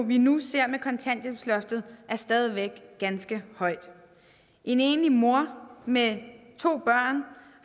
vi nu ser med kontanthjælpsloftet er stadig væk ganske højt en enlig mor med to børn